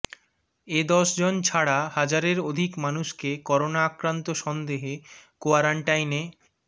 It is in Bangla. এ দশজন ছাড়া হাজারের অধিক মানুষকে করোনা আক্রান্ত সন্দেহে কোয়ারেন্টাইনে